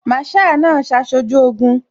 Masaa náà ṣaṣojú Ogun